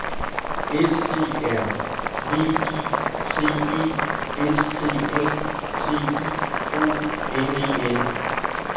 S E R V I C E S T A T I O N E N